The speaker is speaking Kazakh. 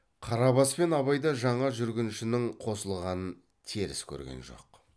қарабас пен абай да жаңа жүргіншінің қосылғанын теріс көрген жоқ